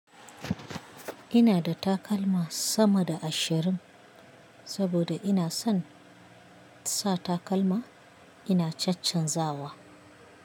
Ina da takalma sama da ashirin saboda ina son sa takalma ina caccan zawa.